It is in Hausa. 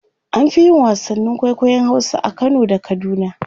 an Fi yin wasannin kwaikwayon Hausa a Kano da kaduna